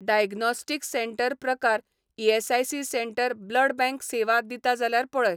Diagnostic centre प्रकार ESIC centre blood bank सेवा दिता जाल्यार पळय.